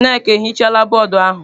Nneka ehichala bọọdụ ahụ.